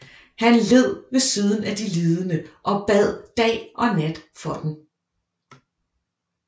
Han led ved siden af de lidende og bad dag og nat for dem